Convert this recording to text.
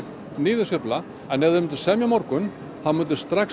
niðursveifla ef þeir myndu semja á morgun myndi